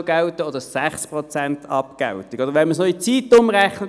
Oder, wenn wir es als Mathematiker noch in Zeit umrechnen: